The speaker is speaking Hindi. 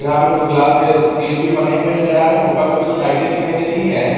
यहां पे कुछ ग्लास के चीज भी बने हुए नजर आ रहे हैं ऊपर में कुछ लाइटें दिखाई दे रही है।